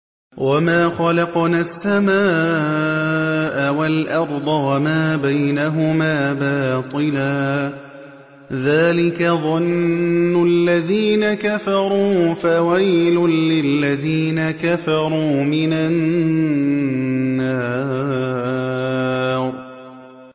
وَمَا خَلَقْنَا السَّمَاءَ وَالْأَرْضَ وَمَا بَيْنَهُمَا بَاطِلًا ۚ ذَٰلِكَ ظَنُّ الَّذِينَ كَفَرُوا ۚ فَوَيْلٌ لِّلَّذِينَ كَفَرُوا مِنَ النَّارِ